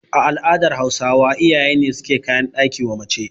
A al'adar Hausawa iyaye ne suke kayan ɗaki wa mace